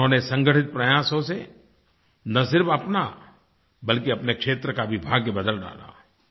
उन्होंने संगठित प्रयासों से न सिर्फ़ अपना बल्कि अपने क्षेत्र का भी भाग्य बदल डाला